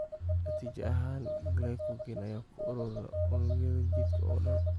Natiijo ahaan, glycogen ayaa ku urura unugyada jidhka oo dhan.